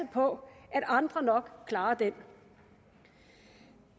på at andre nok klarer den